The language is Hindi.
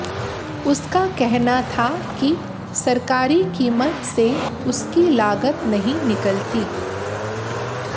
उसका कहना था कि सरकारी कीमत से उसकी लागत नहीं निकलती